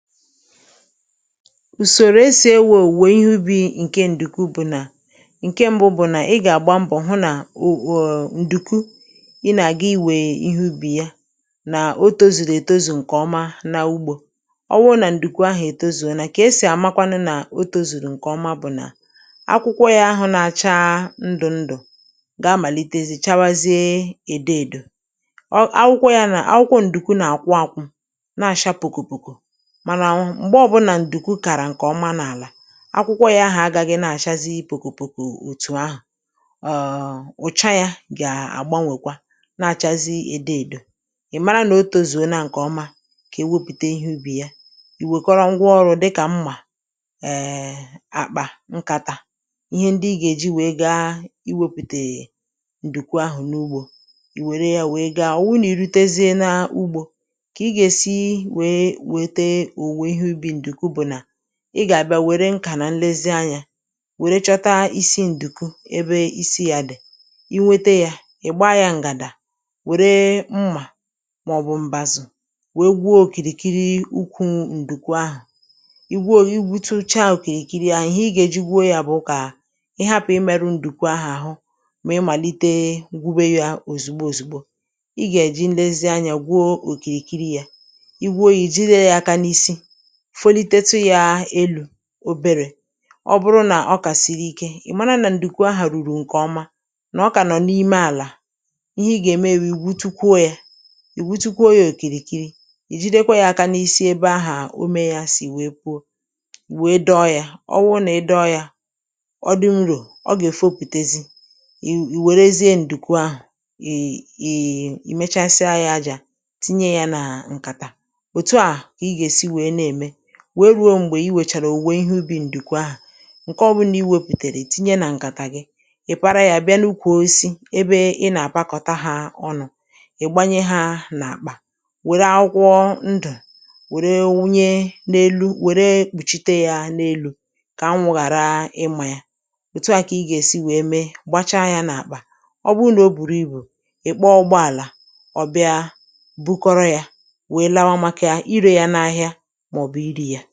Ùsòrò e sì ewè òwùwè ihe ubì ṅ̀ke ǹdùkù bụ̀ nà ṅ̀ke m̄bụ̄ bụ̀ nà ị gà-àgba mbọ̀ hụ nà o ọ̀ọ̀ ǹdʊ̀ku ị nà-àga iwè ihe ubì ya nà o tōzùrù ètozù ṅ̀kè ọma n’ugbō ọ wụụ nà ǹdùku ahụ̀ ètozùone kà e sì àmakwanụ nà o tōzùrù ṅ̀kè ọma bụ̀ nà akwụkwọ yā ahā na-acha ndụ̀ndụ̀ gà-amàlitezi chabazie èdoèdò ọ akwụkwọ ya na akwụkwọ ǹdùku nà-àkwụ ākwụ̄ na-àsha pòkòpòkò mànà m̀gbe ọbụ̄nà ǹdùkù kàrà ṅ̀kè ọma n’àlà akwụkwọ yā ahà agāghɪ̄ na-àchazi pòkòpòkò òtù ahụ̀ er ù̩cha yā gà-àgbanwèkwa na-àchazi èdoèdo ị̀ mara nà o tozùona ṅ̀kè ọma kà e wepùta ihe ubì ya ì wekọrọ ṅgwa ọrụ̄ dịkà mmà err àkpà ṅkàtà ihe ndị ị gà èji wèe gaa iwēpùtè ǹdùku ahụ̀ n’ugbō ì wère ya wèe gaa wu nà i rutezia n’ugbò kà ị gà-èsi wèe wète òwùwè ihe ubì ǹdùku bụ̀ nà ị gà-àbịa wère ṅ̀kà nà nlezi anyā wère chọta isi ǹdùku ebe isi yā dị̀ i nwete yā ị̀ gbaa yā ṅ̀gàdà wère mmà màọbụ m̀bàzụ̀ wèe gwuo òkìrìkiri ukwū ǹdùku ahụ i gwuo i gwutuchaa òkìrikiri ahụ ihe ị gà-èji gwuo yā bụ kà ị hapụ̀ ịmẹ̄rụ̄ ǹdùku ahụ̀ àhụ mà i màlite gwube yā òzugbo òzugbo ịgà-èji nlezi anya gwuo òkìrìkiri yā i gwuo yā ì jide yā aka n’isi folitetụ yā elū oberē ọ bụrụ nà ọ kà sìrì ike ị̣̀ mara nà ǹdùku ahà rùrù ṅ̀kè ọma nà ọ kà nọ̀ n’ime àlà ihe ị gà-ème wụ ì gwutukwuo yā ì gwutukwuo yā òkìrìkiri ì jidkwa yā aka n’isi ebe ahà ome yā sì wèe puo wèe dọọ yā ọ wụụ nà ị dọọ yā ọ dị nrò ọ gà èfopùtezi ì ì wèrezịa ǹdùku ahụ̀̀ i i i mechasịa yā ajā tinye yā n’ṅ̀kàtà òtu à kà I gà-èsi wèe na-ème wèe rùo m̀gbè i wechàrà òwùwè ihe ubì ǹdùku ahà ṅ̀ke ọbụ̄nà i wēputèrè ì tinye nà ṅkàtà gị ị̀ para yā bịa n’ukwù osisi ebe ị nà-àkpakọ̀ta hā ọnụ̄ ị̀ gbanye hā n’àkpà wère akwụkwọ ndụ̀ wère wunye n’elu wère kpùchite ya n’elū kà anwụ̄ ghàra ịmā yā òtu à kà ị gà-èsi wèe mee gbachaa yā n’àkpà ọ bụrụ nà o bùrù ibù ị̀ kpọọ ụgbọàlà ọ̀ bịa bukọrọ yā wèe lawa màkà irē yā n’ahịa màọ̀bụ̀ irē yā